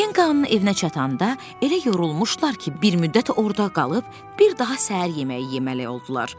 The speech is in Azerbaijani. Kenqanın evinə çatanda elə yorulmuşdular ki, bir müddət orada qalıb bir daha səhər yeməyi yeməli oldular.